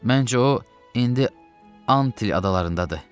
Məncə o indi Antil adalarındadır.